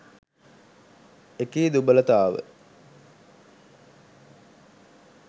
එකී දුබලතාව